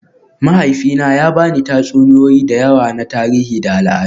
Mahaifina ya ba ni tatsuniyoyi da yawa na tarihi da al'adu